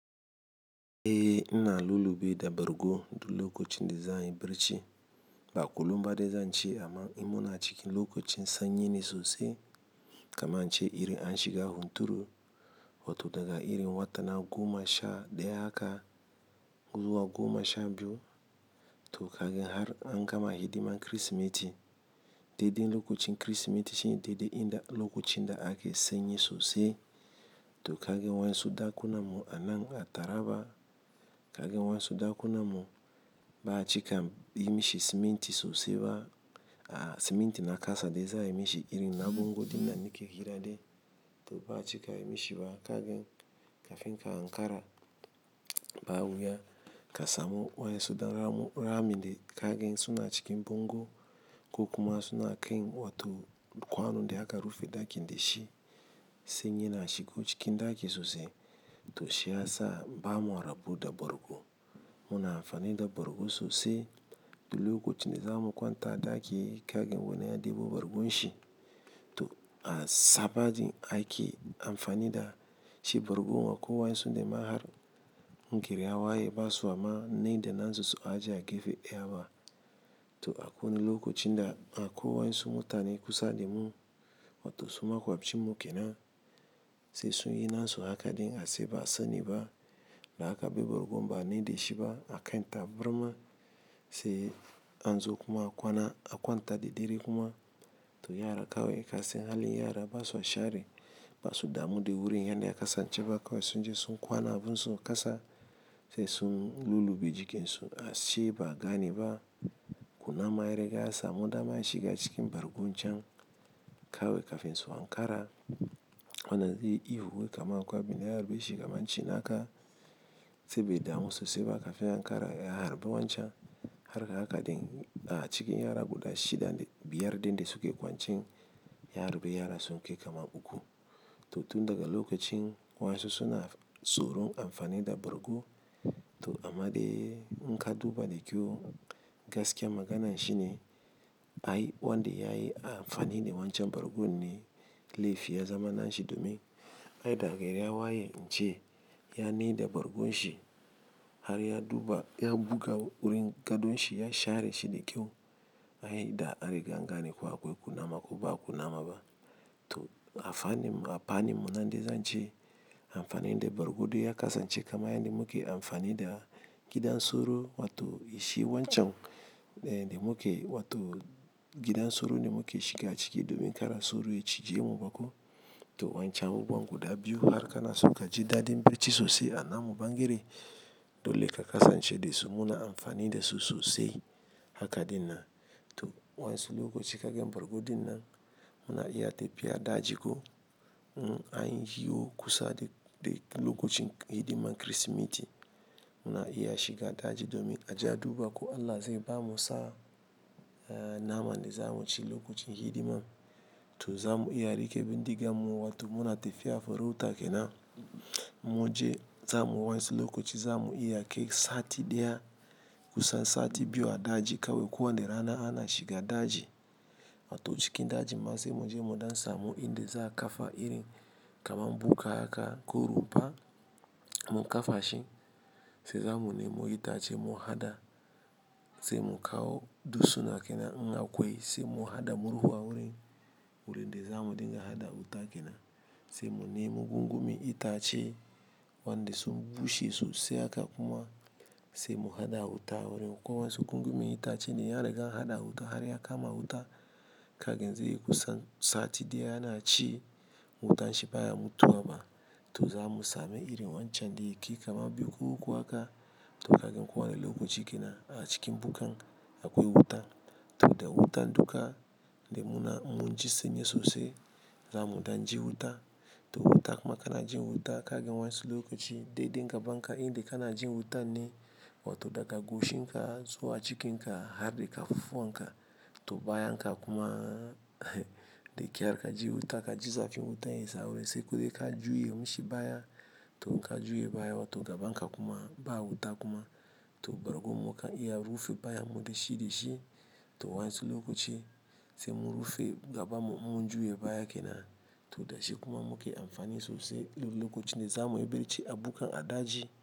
Eh, ina lullube da bargo du lokacin da zan yi barci. Ba a kulumba dai zan ce amma ina muna cikin lokacin sanyi ne sosai. Kamae ince irin an shiga hunturu, wato da ga irin watana goma sha daya haka zuwa goma sha biyu. To kagan har an gama hidiman Kirsimeti. Dadain lokacin Kirsimeti shine daidai inda lokacin da ake sanyi sosai. To kagan wansu da kunamo anan a taraba, kagan wansu da kunamo ba a cika yi mishi siminti sosai ba. Ah siminti na kasa de za a yi mishi irin na bango dina ni ke hira de. To ba a cika yi mishi ba kagan kafin ka ankara ba a wuya. Kasa mu wansu da rami de kagan suna cikin bango. Kukuma suna kain wato kwanon de aka rufe daki de shi. Sanyi na shigo cikin daki sosai. To shi ya sa ba mu rabu da bargo. Muna amfani da bargo sosai. Du lokacin de za mu kwanta daki kagan wani ya debo bargon shi. To a sabagi aiki amfani da shi bargo wa ko wayansu da ma har gerawa yayi basuwa ma ne da nan sosai ajiya gefe daya ba. To akwai lokacin da a ko wansu mutane kusa da mu wato su maƙafcin mu ke nan. Sai sun yi nasu haka din a ce ba sani ba. Da aka bar bargo ba a mai da shi ba akan birma. Te anzo kuma kwana a kwanta da dare kuma to yara kawai ka san halin yara basu share. Basu damu da wurin yadda ya kasan ce ba kawai sun je sun kwana a bun su a ƙasa sai sun lullube jikin su ashe ba a gane ba kunama ya riga ya samu dama ya shiga cikin bargon can. Kawai kafin su ankara. Wannan zai yi ihu wai kamar akwai abunda ya harbe shi kamar cin naka sai bai damu so sai ba kafin ankara ya harbe wancan. Harka haka den a cikin yara guda shida biyar din da suke kwance ya harbi yara sun kai kamar uku. To tun daga lokacin wansu suna tsoron amfani da bargo. To amman de in ka duba da kyau gaskiyar maganar shine ai wanda yayi amfani da wancan bargon ne laifi ya zama na shi domin. Ai da gari ya waye in ce ya mai da bargon shi. Har ya duba ya buga wurin gadon shi ya share shi de kyau. Ai da an riga an gane ku akwai kunama ko ba kunama ba. To a fani mu a fani mu zan de zan ce amfani da bargo du ya kasance kamar yan da muke amfani da gidan soro wato is shi wancan de muke wato gidan soro ne muke shiga ciki domin kara soro ya cije mu bako. To wancan abu buwan gudan biyu harka na so ka ji daɗin birci so sai a na mu ban gare dole ka kasance de su muna amfani da su so sai haka dina. To wayansu lokacin kaga bargo ɗina muna iya tafiya daji ko anyi kusa de de lokacin hidiman Kirsimeti. Muna iya shiga daji domin aje a duba ko Allah zai bamu sa a naman da za mu ci lokacin hidiman. To za mu iya rike bindiga mu wato muna tafiya farauta ke nan. Mu je za mu wansi lokaci za mu iya kai sati daya kusan sati biyu a daji kawai ko wa ne rana ana shiga daji. Wato cikin daji ma sai mu je mu dan samu inda za a kafa irin kamar bukka haka ko rumfa mu kafa shi. Sai za mu nemo itace mu hada. Sai mu kawo dutsina ke nan in akwai wuri de za mu dinga haɗa wuta ke nan. Sai mu nemi gungumi itace wanda su bushe sosai haka kuma. Sai mu hada wuta a wurin kowa wansu gungumi itace ne ya riga an hada wuta har ya kama wuta. Kagan zai yi kusan sati daya ya na ci wutan shi baya mutu ba. To za mu sami irin wancan da yakai kamar biyu ko uku haka. To kagan kuwa ne lokaci kenan a cikin bukkan akwai wuta. To da wutan duka de muna mun ji sanyi sosai. Zamu dan ji wuta. To wuta kuma kana jin wuta kaga wayansu lokaci dede gaba inda kana jin wuta ne. Wato daga goshin ka zuwa cikin ka har da kafafuwan ka. To bayanka kuma da kyar ka ji wuta ka ji zafin wutan ya zaure sai ku ka juye mashi baya. To ka juya baya wato ganka kuma ba wuta kuma. To bargon muka iya rufe baya mu da shi da shi to wayansu lokaci sai mu rufe gaban mu in mun juye baya kenan to da shi kuma muke amfani sosai in lokacin de za mu yi birci a bukan a daji.